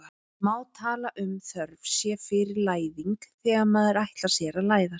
Má tala um þörf sé fyrir læðing þegar maður ætlar sér að læðast?